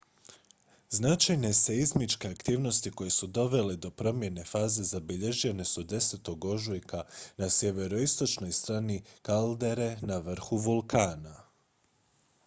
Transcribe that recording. značajne seizmičke aktivnosti koje su dovele do promjene faze zabilježene su 10. ožujka na sjeveroistočnoj strani kaldere na vrhu vulkana